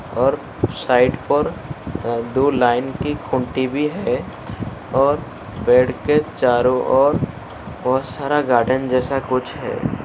और उस साइड पर दो लाइन की खूँटी भी है और पेड़ के चारों ओर बहुत सारा गार्डन जैसा कुछ है।